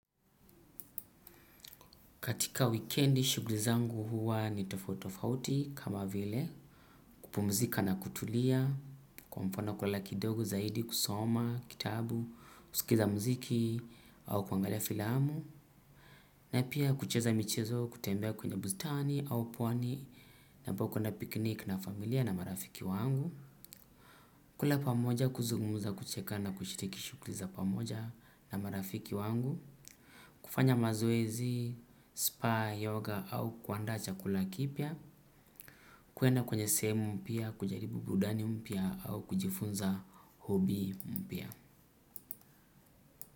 Katika weekendi, shugli zangu huwa ni tofauti tofauti kama vile. Kupumzika na kutulia, kwa mfano kwa laki dogu zaidi kusoma, kitabu, kusikiza mziki au kuangalia filamu. Na pia kucheza michezo kutembea kwenye buzitani au pwani na book kuenda piknik na familia na marafiki wangu. Kula pamoja kuzugumuza kucheka na kushitiki shugli za pamoja na marafiki wangu. Kufanya mazoezi, spa, yoga au kuandaa chakula kipya kuenda kwenye seemu mpya, kujaribu brudani mpya au kujifunza hobi mpya.